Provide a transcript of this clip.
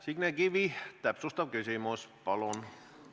Signe Kivi, täpsustav küsimus, palun!